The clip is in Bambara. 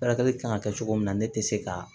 Furakɛli kan ka kɛ cogo min na ne tɛ se ka